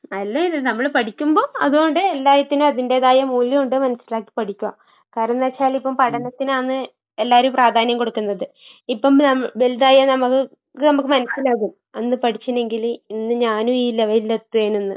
നല്ലയിത്. നമ്മള് പഠിക്കുമ്പോ അതോണ്ട് എല്ലായിതിനും അതിന്റേതായ മൂല്യവൊണ്ട് മനസ്സിലാക്കിപ്പഠിക്കുക. കാരണെന്താച്ചാലിപ്പം പഠനത്തിനാന്ന് എല്ലാരും പ്രാധാന്യം കൊടുക്കുന്നത്. ഇപ്പം നം വലുതായാ നമ്മക്ക് ഇത് നമ്മക്ക് മനസ്സിലാകും അന്ന് പഠിച്ചിനേങ്കില് ഇന്ന് ഞാനും ഈ ലെവലിലെത്തേനൂന്ന്.